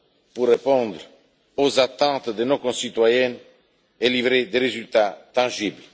pour répondre aux attentes de nos concitoyens et livrer des résultats tangibles.